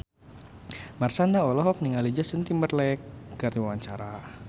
Marshanda olohok ningali Justin Timberlake keur diwawancara